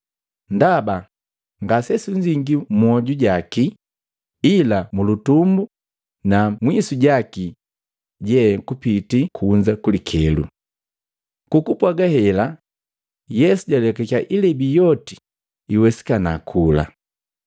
ndaba ngasesunzingii mmwoju jaki, ila mulutumbu na mwisu jaki je kupitii kunza kulikelo?” Kukupwaga hela, Yesu jalekakya ilebi yoti iwesikana kula.